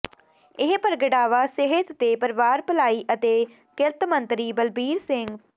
ਇਹ ਪ੍ਰਗਟਾਵਾ ਸਿਹਤ ਤੇ ਪਰਿਵਾਰ ਭਲਾਈ ਅਤੇ ਕਿਰਤ ਮੰਤਰੀ ਬਲਬੀਰ ਸਿ